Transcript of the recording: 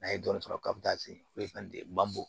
N'a ye dɔɔnin-sɔrɔ k'a bɛ taa se foyi fana tɛ ban o